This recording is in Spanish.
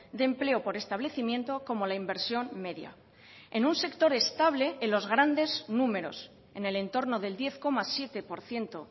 de empleo por establecimiento como la inversión media en un sector estable en los grandes números en el entorno del diez coma siete por ciento